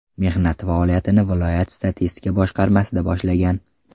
Mehnat faoliyatini viloyat statistika boshqarmasida boshlagan.